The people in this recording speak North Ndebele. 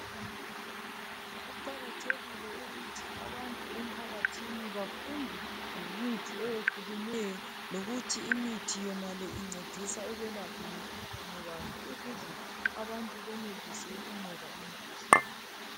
Kuqakathekile ukuthi abantu emphakathini bafunde ngemithi eyehlukeneyo lokuthi imithi yonale incedisa ukwelapha mikhuhlane bani ukuze abantu benelise ukunqoba imikhuhlane.